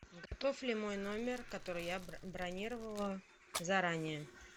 готов ли мой номер который я бронировала заранее